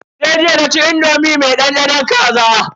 Sai jiya naci indomi me dandanon kaza.